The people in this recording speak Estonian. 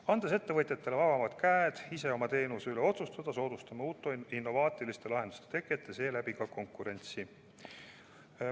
Andes ettevõtjatele vabamad käed ise oma teenuse üle otsustada, soodustame uute innovaatiliste lahenduste teket ja seeläbi ka konkurentsi.